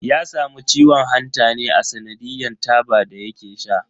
Ya samu ciwon hanta ne a tsanadiyan taba da yake sha.